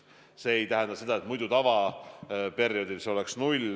See ei tähenda seda, et tavaperioodil see arv oleks olnud null.